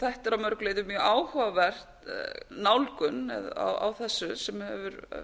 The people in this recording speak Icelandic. þetta er að mörgu leyti mjög áhugaverð nálgun á þessu sem hefur